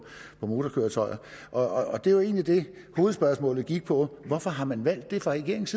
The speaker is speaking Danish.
motorkøretøjer og det var jo egentlig det hovedspørgsmålet gik på hvorfor har man valgt det fra regeringens